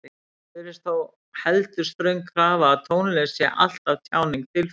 Það virðist þó heldur ströng krafa að tónlist sé alltaf tjáning tilfinninga.